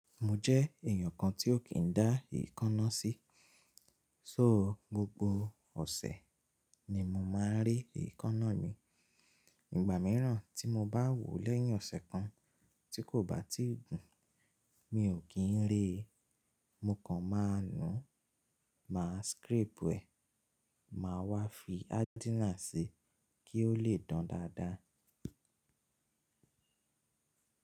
Mo jẹ́ èèyàn kan tí ó kì í dá èékánná sí, só gbogbo ọ̀sẹ̀ ni mo máa re èékánná mi. Ìgbà mìíràn tí mo bá wòó lẹ́yìn ọ̀sẹ̀ kan tí kò bá tíì gùn, mi ò kí ń re, mo kàn máa nu, màá scrape ẹ̀, màá wá fi ádínà ṣi kí ó lè dán dáadáa.